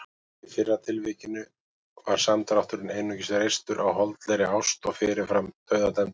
Í fyrra tilvikinu var samdrátturinn einungis reistur á holdlegri ást og fyrirfram dauðadæmdur.